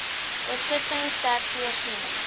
besittings ter voorsiening